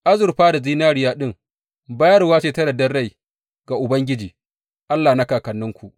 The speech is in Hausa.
Azurfa da zinariya ɗin, bayarwa ce ta yardar rai ga Ubangiji, Allah na kakanninku.